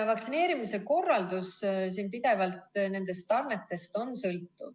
Vaktsineerimise korraldus sõltub pidevalt nendest tarnetest.